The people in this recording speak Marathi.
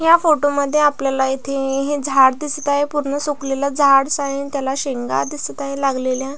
या फोटो मध्ये आपल्याला येथे ऐ हे झाड दिसत आहे. पूर्ण सुकलेल झाडस आहे त्याला शेंगा दिसत हाय लागलेल्या.